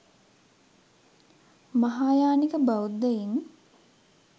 මහායානික බෞද්ධයින්